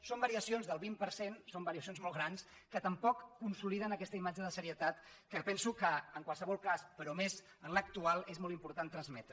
són variacions del vint per cent són variacions molt grans que tampoc consoliden aquesta imatge de serie tat que penso que en qualsevol cas però més en l’actual és molt important transmetre